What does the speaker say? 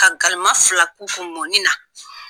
Ka galama fila tumunin na